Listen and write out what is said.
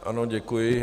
Ano, děkuji.